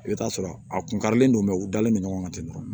I bɛ t'a sɔrɔ a kun karilen don u dalen don ɲɔgɔn kan ten tɔ